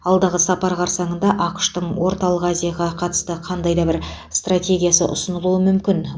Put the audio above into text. алдағы сапар қарсаңында ақш тың орталық азияға қатысты қандай да бір стратегиясы ұсынылуы мүмкін